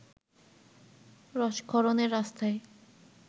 রসক্ষরণের রাস্তায়